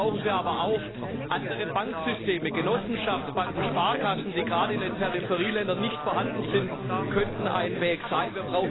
Dazu brauchen wir aber auch andere Banksysteme. Genossenschaftsbanken, Sparkassen, die gerade in den Peripherieländern nicht vorhanden sind, könnten ein Weg sein.